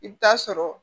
I bɛ taa sɔrɔ